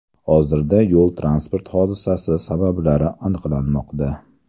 Hozirda yo‘l-transport hodisasi sabablari aniqlanmoqda.